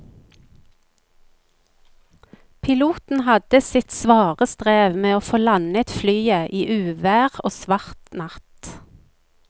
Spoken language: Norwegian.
Piloten hadde sitt svare strev med å få landet flyet i uvær og svart natt.